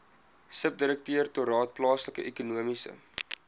subdirektoraat plaaslike ekonomiese